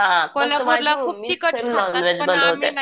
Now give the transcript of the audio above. हां